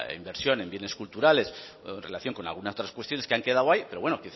inversión en bienes culturales o en relación con alguna de otras cuestiones que han quedado ahí pero bueno